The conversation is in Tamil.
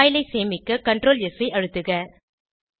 பைல் ஐ சேமிக்க ctrls ஐ அழுத்துக